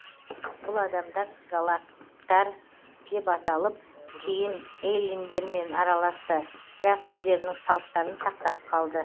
бұл адамдар галаттар деп аталып кейін эллиндермен араласты бірақ өздерінің салттарын сақтап қалды